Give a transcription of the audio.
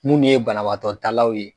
Mun ye banabagatɔtalaw ye.